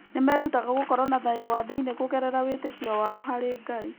Nĩ merutaga gũkorwo na thayũ wa thĩinĩ kũgerera wĩtĩkio wao harĩ Ngai.